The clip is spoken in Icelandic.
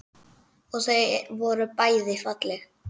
Og þau voru bæði falleg.